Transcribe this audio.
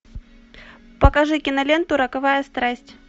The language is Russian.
покажи киноленту роковая страсть